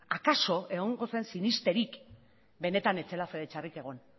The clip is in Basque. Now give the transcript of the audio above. akaso egongo zen sinesterik benetan ez zela fede txarrik egon